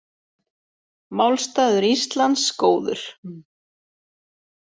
Málstaður Íslands góður